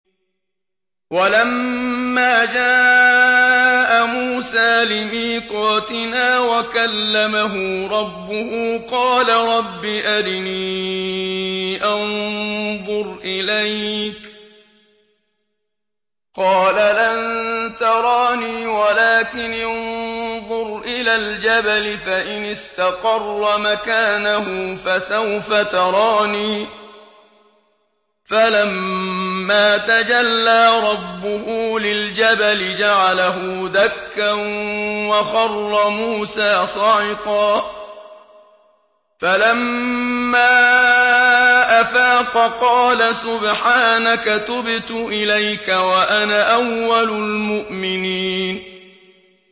وَلَمَّا جَاءَ مُوسَىٰ لِمِيقَاتِنَا وَكَلَّمَهُ رَبُّهُ قَالَ رَبِّ أَرِنِي أَنظُرْ إِلَيْكَ ۚ قَالَ لَن تَرَانِي وَلَٰكِنِ انظُرْ إِلَى الْجَبَلِ فَإِنِ اسْتَقَرَّ مَكَانَهُ فَسَوْفَ تَرَانِي ۚ فَلَمَّا تَجَلَّىٰ رَبُّهُ لِلْجَبَلِ جَعَلَهُ دَكًّا وَخَرَّ مُوسَىٰ صَعِقًا ۚ فَلَمَّا أَفَاقَ قَالَ سُبْحَانَكَ تُبْتُ إِلَيْكَ وَأَنَا أَوَّلُ الْمُؤْمِنِينَ